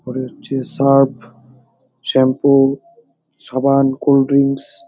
পরে হচ্ছে surf shampoo সাবান কোল্ড ড্রিঙ্কস ।